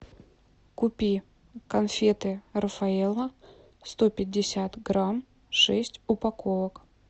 купи конфеты рафаэлло сто пятьдесят грамм шесть упаковок